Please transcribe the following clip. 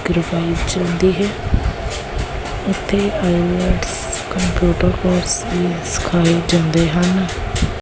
ਚਲਦੀ ਹੈ ਉਥੇ ਆਈਲੈਟਸ ਕੰਪਿਊਟਰ ਕੋਰਸ ਵੀ ਸਿਖਾਏ ਜਾਂਦੇ ਹਨ।